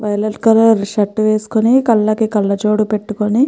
violet colour shirt వేసుకుని కళ్ళకి కళ్ళజోడు పెట్టుకుని --